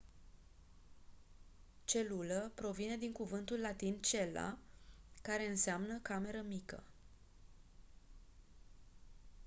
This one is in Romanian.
celulă provine din cuvântul latin cella care înseamnă cameră mică